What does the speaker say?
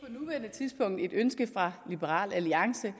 liberal alliance